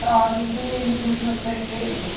Frases simples, não sei o quê, né?